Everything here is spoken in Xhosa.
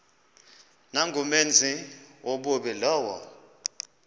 nangumenzi wobubi lowo